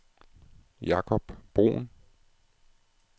Jakob Bruhn